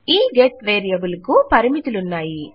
ఈ get variable కు పరిమితులున్నాయి